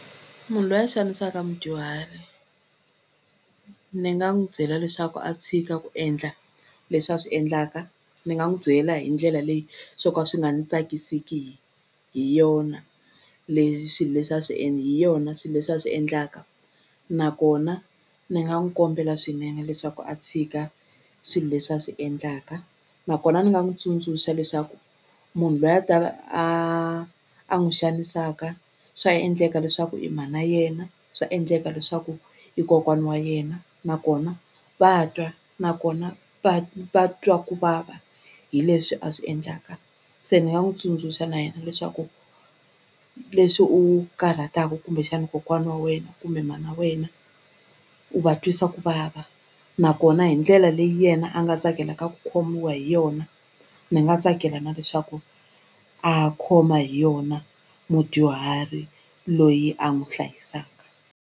Munhu loyi a xanisaka mudyuhari ni nga n'wi byela leswaku a tshika ku endla leswi a swi endlaka ni nga n'wi byela hi ndlela leyi swo ka swi nga ni tsakisiki hi yona leswi leswi a swi hi yona swi leswi a swi endlaka nakona ni nga n'wi kombela swinene leswaku a tshika swilo leswi a swi endlaka nakona ni nga n'wi tsundzuxa leswaku munhu loyi a ta ve a a n'wi xanisaka swa endleka leswaku i mhana yena swa endleka leswaku i kokwani wa yena nakona va twa nakona va va twa ku vava hi leswi a swi endlaka se ni nga n'wi tsundzuxa na yena leswaku leswi u karhataka kumbexani kokwani wa wena kumbe mhana wa wena u va twisa ku vava nakona hi ndlela leyi yena a nga tsakelaka ku khomiwa hi yona ni nga tsakela na leswaku a khoma hi yona mudyuhari loyi a n'wi hlayisaka.